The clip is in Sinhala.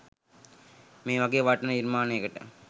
මේ වගේ වටිනා නිර්මාණයකට